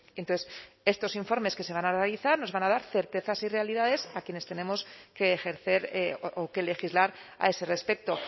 entonces estos informes que se van a realizar nos van a dar certezas y realidades a quienes tenemos que ejercer o que legislar a ese respecto